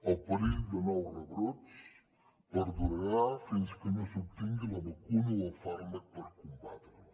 el perill de nous rebrots perdurarà fins que no s’obtingui la vacuna o el fàrmac per combatre la